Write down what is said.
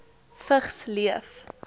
vigs leef